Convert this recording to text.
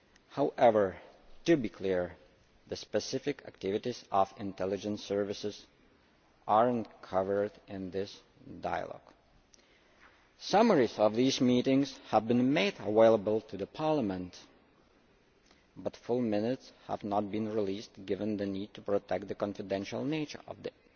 However, it should be clear that the specific activities of intelligence services are not covered in this dialogue. Summaries of these meetings have been made available to Parliament but full minutes have not been released, given the need to protect the confidential nature of